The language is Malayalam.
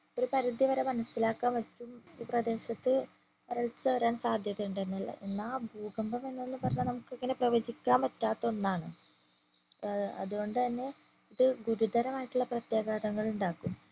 ഒരു പരിധി വരെ മനസ്സിലാക്കാൻ പറ്റും ഈ പ്രദേശത്ത് വരൾച്ച വരാൻ സാധ്യത ഉണ്ടെന്നുള്ളത് എന്നാ ഭൂകമ്പം എന്നൊക്കെ പറഞ്ഞാ നമ്മക്ക് ഇങ്ങനെ പ്രവചിക്കാൻ പറ്റാത്ത ഒന്നാണ് ഏർ അതുകൊണ്ട് തന്നെ ഇത് ഗുരുതരമായിട്ടുള്ള പ്രത്യാഘതങ്ങൾ ഉണ്ടാക്കും